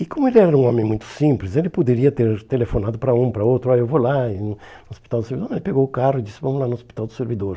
E como ele era um homem muito simples, ele poderia ter telefonado para um, para outro, aí eu vou lá, e no Hospital do Servi ele pegou o carro e disse, vamos lá no Hospital do Servidor.